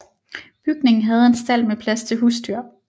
Bygningen havde en stald med plads til husdyr